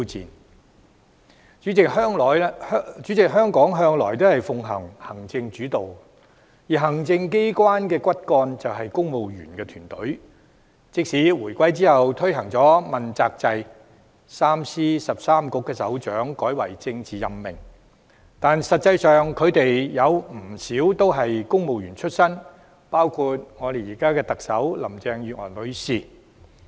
代理主席，香港政府向來奉行行政主導，而行政機關的骨幹便是公務員團隊，即使回歸後推行問責制 ，3 司13局的首長職位改為政治任命，實際上，他們有不少人都是公務員出身，包括我們現任特首林鄭月娥女士。